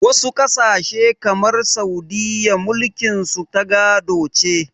Wasu ƙasashe kamar Saudiyya mulkin su ta gado ce.